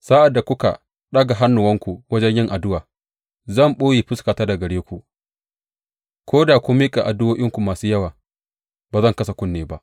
Sa’ad da kuka ɗaga hannuwanku wajen yin addu’a, zan ɓoye fuskata daga gare ku; ko da kun miƙa addu’o’i masu yawa, ba zan kasa kunne ba.